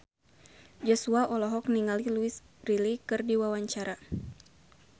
Joshua olohok ningali Louise Brealey keur diwawancara